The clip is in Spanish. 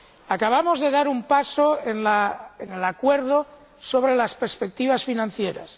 Acabamos de dar un paso hacia el acuerdo sobre las perspectivas financieras.